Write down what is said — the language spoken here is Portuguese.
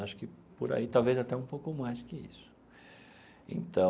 Acho que por aí talvez até um pouco mais que isso então.